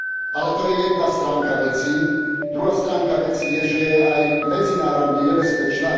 Ale to je jedna stránka veci, druhá stránka veci je, že je aj medzinárodne nebezpečná.